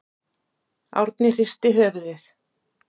Árni hristi höfuðið.